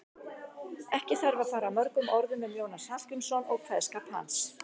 Ekki þarf að fara mörgum orðum um Jónas Hallgrímsson og kveðskap hans.